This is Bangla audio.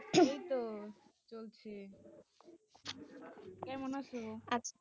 এই তো চলছে কেমন আছ?